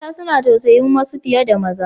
Mata suna tausayin wasu fiye da maza.